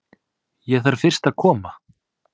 Ég þarf fyrst að koma